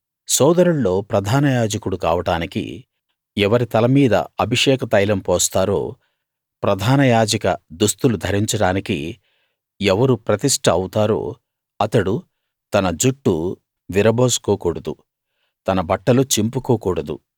సోదరుల్లో ప్రధాన యాజకుడు కావడానికి ఎవరి తలమీద అభిషేక తైలం పోస్తారో ప్రధాన యాజక దుస్తులు ధరించడానికి ఎవరు ప్రతిష్ట అవుతారో అతడు తన జుట్టు విరబోసుకోకూడదు తన బట్టలు చింపుకోకూడదు